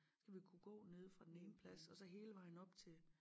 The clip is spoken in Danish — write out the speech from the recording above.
Skal vi kunne gå nede fra den ene plads og så hele vejen op til